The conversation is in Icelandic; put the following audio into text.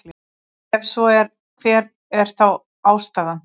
Ef svo er hver er þá ástæðan?